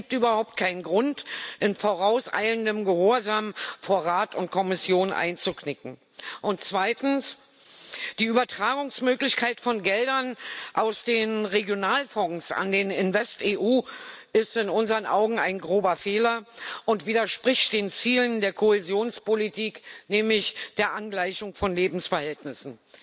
Es gibt überhaupt keinen Grund, in vorauseilendem Gehorsam vor Rat und Kommission einzuknicken. Und zweitens Die Übertragungsmöglichkeit von Geldern aus den Regionalfonds an den InvestEU ist in unseren Augen ein grober Fehler und widerspricht den Zielen der Kohäsionspolitik, nämlich der Angleichung von Lebensverhältnissen.